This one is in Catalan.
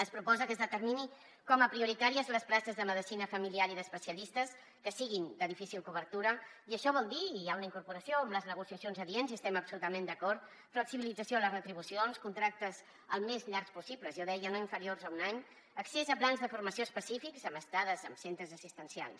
es proposa que es determinin com a prioritàries les places de medicina familiar i d’especialistes que siguin de difícil cobertura i això vol dir hi ha una incorporació amb les negociacions adients i hi estem absolutament d’acord flexibilització en les retribucions contractes el més llargs possibles jo deia no inferiors a un any accés a plans de formació específics amb estades en centres assistencials